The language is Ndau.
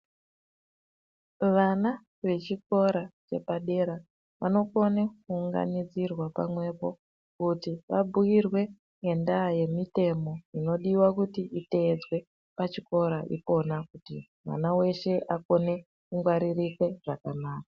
Vana vechikora chepadera vanokone kuunganidzirwa pamwepo Kuti vabhuirwe ngendaa yemitemo inodiva kuti itedzwe pachikora ipona. Kuti mwana veshe akone kungwaririke zvakanaka.